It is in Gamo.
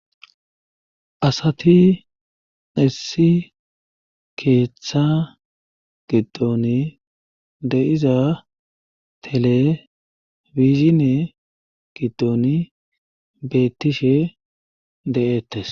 asati nissi keeththa giddoni de iza telefizine giddoni beettishe de7ettes